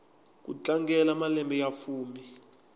ku tlangela malembe ya fumi